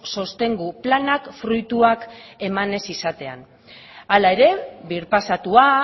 sostengu planak fruituak eman ez izatean hala ere birpasatua